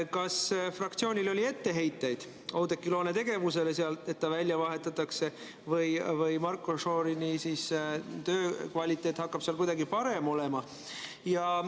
Kas fraktsioonil oli etteheiteid Oudekki Loone tegevusele seal, et ta välja vahetatakse, või hakkab Marko Šorini töö kvaliteet seal kuidagi parem olema?